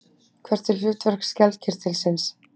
Hvert er hlutverk skjaldkirtilsins?